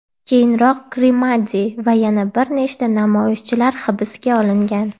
Keyinroq Krimadi va yana bir nechta namoyishchilar hibsga olingan.